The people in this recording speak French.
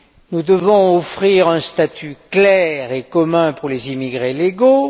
Nous devons offrir un statut clair et commun pour les immigrés légaux.